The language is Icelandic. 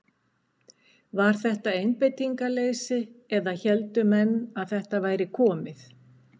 Var þetta einbeitingarleysi eða héldu menn að þetta væri komið?